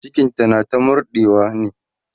cikinta na ta murɗawa ne